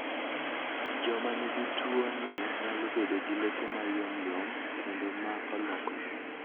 Joma nigi tuwoni nyalo bedo gi leke mayomyom kendo ma olokore.